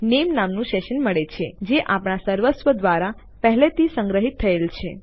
મને નામે નામનું સેશન મળે છે જે આપણા સર્વર દ્વારા પહેલેથી સંગ્રહિત કરવામાં આવ્યું છે